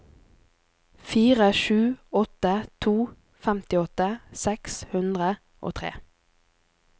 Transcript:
fire sju åtte to femtiåtte seks hundre og tre